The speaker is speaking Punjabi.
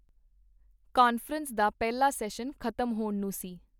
ਕਾਨਫਰੰਸ ਦਾ ਪਹਿਲਾ ਸੈਸ਼ਨ ਖ਼ਤਮ ਹੋਣ ਨੂੰ ਸੀ.